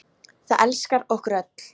Það elskar okkur öll.